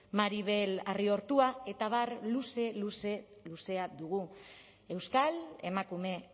maribel arriortua eta abar luze luze luzea dugu euskal emakume